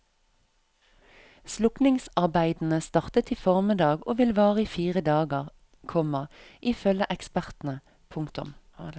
Slukningsarbeidene startet i formiddag og vil vare i fire dager, komma ifølge ekspertene. punktum